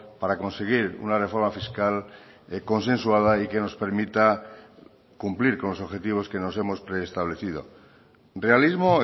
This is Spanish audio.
para conseguir una reforma fiscal consensuada y que nos permita cumplir con los objetivos que nos hemos preestablecido realismo